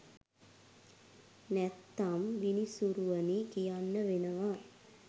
නැත්තම් විනිසුරුවනි කියන්න වෙනවා!